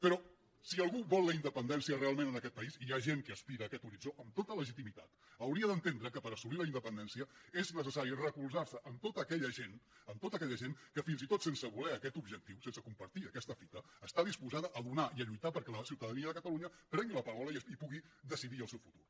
però si algú vol la independència realment en aquest país i hi ha gent que aspira a aquest horitzó amb tota legitimitat hauria d’entendre que per assolir la independència és necessari recolzar se en tota aquella gent que fins i tot sense voler aquest objectiu sense compartir aquesta fita està disposada a donar i a lluitar perquè la ciutadania de catalunya prengui la paraula i pugui decidir el seu futur